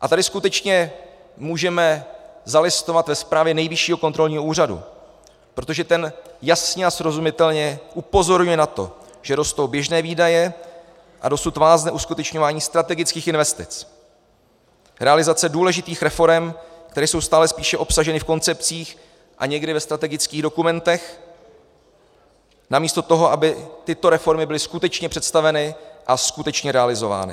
A tady skutečně můžeme zalistovat ve zprávě Nejvyššího kontrolního úřadu, protože ten jasně a srozumitelně upozorňuje na to, že rostou běžné výdaje a dosud vázne uskutečňování strategických investic, realizace důležitých reforem, které jsou stále spíše obsaženy v koncepcích a někdy ve strategických dokumentech, namísto toho, aby tyto reformy byly skutečně představeny a skutečně realizovány.